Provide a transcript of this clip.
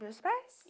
Dos meus pais?